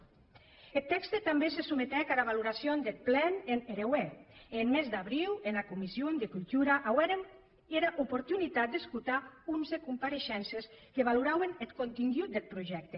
eth tèxte tanben se sometec ara valoracion deth plen en hereuèr e en mes d’abriu ena comission de cultura auérem era oportunitat d’escotar onze compareishences que valorauen eth contengut deth projècte